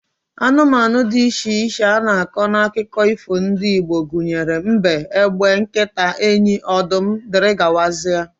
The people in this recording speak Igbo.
Anụmanụ dị iche iche a na-akọ n'akụkọ ifo ndị Igbo gụnyere mbe, egbe, nkịta, enyi, ọdụm, dgz